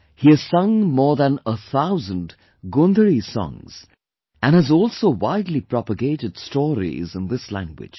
He has sung more than 1000 Gondhali songs and has also widely propagated stories in this language